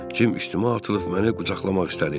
Cim üstümə atılıb məni qucaqlamaq istədi.